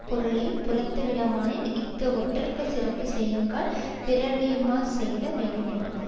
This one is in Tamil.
பொருளை புறத்துவிட்டானாம் இஃது ஒற்றர்க்கு சிறப்பு செய்யுங்கால் பிறரறியாமற் செய்ய வேண்டுமென்றது